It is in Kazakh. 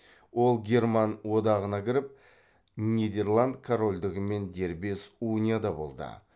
ол герман одағына кіріп нидерланд корольдігімен дербес унияда болды